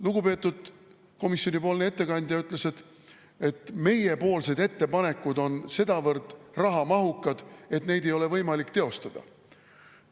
Lugupeetud komisjonipoolne ettekandja ütles, et meiepoolsed ettepanekud on sedavõrd rahamahukad, et neid ei ole võimalik teostada.